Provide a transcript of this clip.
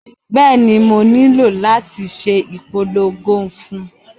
Bẹ́ẹ̀ni, mo nílò láti ṣe ìpolongo fún un